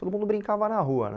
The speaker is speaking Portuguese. Todo mundo brincava na rua, né?